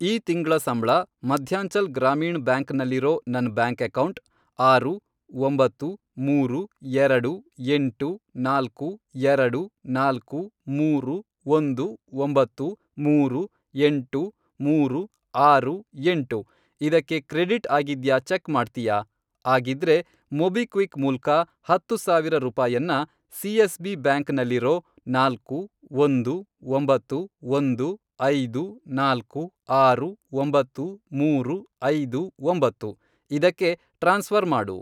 ಈ ತಿಂಗ್ಳ ಸಂಬ್ಳ ಮಧ್ಯಾಂಚಲ್ ಗ್ರಾಮೀಣ್ ಬ್ಯಾಂಕ್ ನಲ್ಲಿರೋ ನನ್ ಬ್ಯಾಂಕ್ ಅಕೌಂಟ್, ಆರು, ಒಂಬತ್ತು, ಮೂರು, ಎರಡು, ಎಂಟು, ನಾಲ್ಕು, ಎರಡು, ನಾಲ್ಕು, ಮೂರು, ಒಂದು, ಒಂಬತ್ತು, ಮೂರು, ಎಂಟು, ಮೂರು, ಆರು, ಎಂಟು, ಇದಕ್ಕೆ ಕ್ರೆಡಿಟ್ ಆಗಿದ್ಯಾ ಚೆಕ್ ಮಾಡ್ತ್ಯಾ? ಆಗಿದ್ರೆ, ಮೊಬಿಕ್ವಿಕ್ ಮೂಲ್ಕ ಹತ್ತು ಸಾವಿರ ರೂಪಾಯನ್ನ ಸಿ.ಎಸ್.ಬಿ. ಬ್ಯಾಂಕ್ ನಲ್ಲಿರೋ, ನಾಲ್ಕು, ಒಂದು, ಒಂಬತ್ತು, ಒಂದು, ಐದು, ನಾಲ್ಕು, ಆರು, ಒಂಬತ್ತು, ಮೂರು, ಐದು, ಒಂಬತ್ತು, ಇದಕ್ಕೆ ಟ್ರಾನ್ಸ್ಫ಼ರ್ ಮಾಡು.